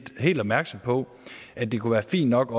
helt opmærksom på at det kunne være fint nok